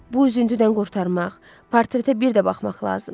Bu üzüntüdən qurtarmaq, portretə bir də baxmaq lazımdır.